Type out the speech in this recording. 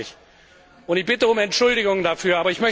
Das weiß ich und ich bitte um Entschuldigung dafür.